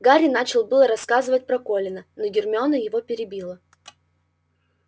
гарри начал было рассказывать про колина но гермиона его перебила